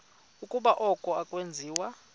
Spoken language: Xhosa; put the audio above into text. ukuba oku akwenziwa